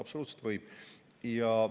Absoluutselt võib!